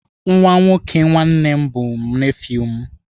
Nwa nwoke nwanne m bụ nefiu m.